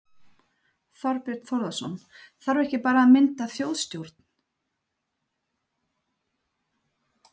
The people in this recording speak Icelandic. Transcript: Þorbjörn Þórðarson: Þarf ekki bara að mynda þjóðstjórn?